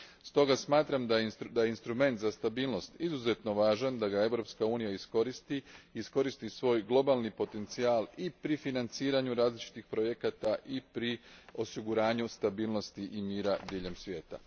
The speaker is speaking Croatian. Stoga smatram da je instrument za stabilnost izuzetno važan, da ga Europska unija iskoristi i iskoristi svoj globalni potencijal i pri financiranju različitih projekata i pri osiguranju stabilnosti i mira diljem svijeta.